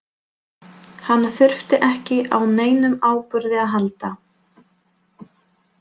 Hún þurfti ekki á neinum áburði að halda.